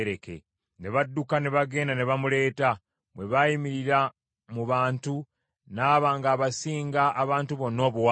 Ne badduka ne bagenda ne bamuleeta. Bwe yayimirira mu bantu, n’aba ng’asinga abantu bonna obuwanvu.